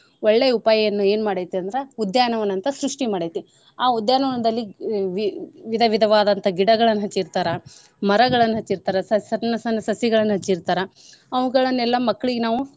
ಒಳ್ಳೆ ಉಪಾಯವನ್ ಏನ್ ಮಾಡೈತಿ ಅಂದ್ರ ಉದ್ಯಾನ ವನ ಅಂತ ಸೃಷ್ಟಿ ಮಾಡೈತಿ. ಆ ಉದ್ಯಾನ ವನದಲ್ಲಿ ವಿ~ ವಿ~ ವಿಧ ವಿಧವಾದಂತ ಗಿಡಗಳನ್ನ ಹಚ್ಚಿರ್ತಾರ ಮರಗಳನ್ನ ಹಚ್ಚಿರ್ತಾರ ಸಣ್ಣ ಸಣ್ಣ ಸಸಿಗಳನ್ನ ಹಚ್ಚಿರ್ತಾರ ಅವುಗಳನ್ನೆಲ್ಲಾ ಮಕ್ಳಿಗ್ ನಾವು.